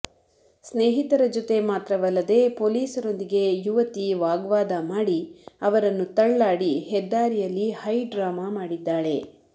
ಸ್ನೇಹಿತರ ಜೊತೆ ಮಾತ್ರವಲ್ಲದೇ ಪೊಲೀಸರೊಂದಿಗೆ ಯುವತಿ ವಾಗ್ವಾದ ಮಾಡಿ ಅವರನ್ನು ತಳ್ಳಾಡಿ ಹೆದ್ದಾರಿಯಲ್ಲಿ ಹೈಡ್ರಾಮಾ ಮಾಡಿದ್ದಾಳೆ